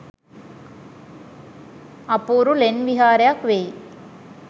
අපූරු ලෙන් විහාරයක් වෙයි